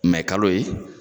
Mɛ kalo ye.